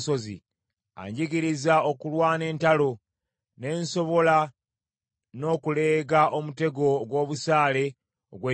Anjigiriza okulwana entalo, ne nsobola n’okuleega omutego ogw’obusaale ogw’ekikomo.